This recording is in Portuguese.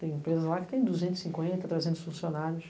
Tem empresa lá que tem duzentos e cinquenta, trezentos funcionários.